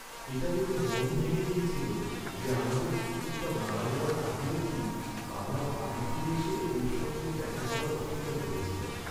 এটা দেখে মন ভেঙে গেছিল যে আমাদের কুকুরটা মারা যাওয়ার আগে অবধি বাবার বাড়ি ফিরে এসে ওঁর সঙ্গে দেখা করার অপেক্ষা করেছিল।